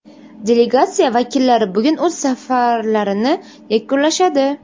Delegatsiya vakillari bugun o‘z safarlarini yakunlashadi.